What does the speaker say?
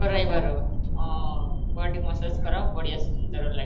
କରାଇ ବାର ହଁ body massage କରାଅ ବହୁତ ବଢିଆ ସୁନ୍ଦର ଲାଗିବ